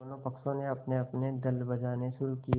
दोनों पक्षों ने अपनेअपने दल बनाने शुरू किये